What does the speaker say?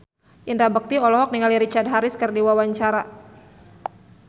Indra Bekti olohok ningali Richard Harris keur diwawancara